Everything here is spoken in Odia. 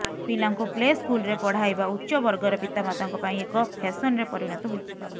ପିଲାଙ୍କୁ ପ୍ଲେ ସ୍କୁଲରେ ପଢ଼ାଇବା ଉଚ୍ଚବର୍ଗର ପିତାମାତାଙ୍କ ପାଇଁ ଏକ ଫ୍ୟାସନରେ ପରିଣତ ହୋଇଛି